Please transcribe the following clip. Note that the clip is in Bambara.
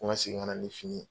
Ko n ka segin ka na ni fini ye.